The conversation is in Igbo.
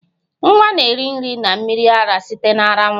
Nwa na-eri nri na mmiri ara site na ara nwanyị